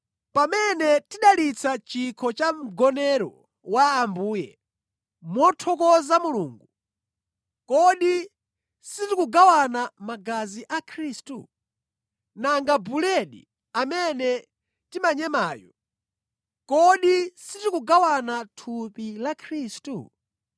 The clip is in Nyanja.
Pamene tidalitsa chikho cha Mgonero wa Ambuye, mothokoza Mulungu, kodi sitikugawana magazi a Khristu? Nanga buledi amene timanyemayo, kodi sitikugawana thupi la Khristu?